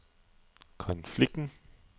konflikten